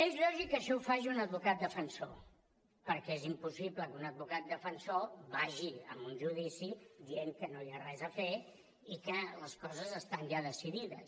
és lògic que això ho faci un advocat defensor perquè és impossible que un advocat defensor vagi a un judici dient que no hi ha res a fer i que les coses estan ja decidides